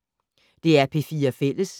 DR P4 Fælles